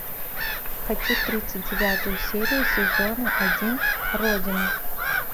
хочу тридцать девятую серию сезона один родина